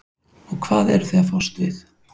og hvað eruð þið að fást við?